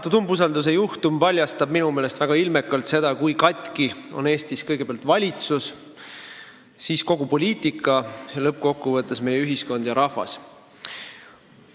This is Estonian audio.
Praegune umbusaldamise juhtum paljastab minu meelest väga ilmekalt, kui katki on Eestis kõigepealt valitsus, siis kogu poliitika ja lõppkokkuvõttes meie ühiskond ja rahvas.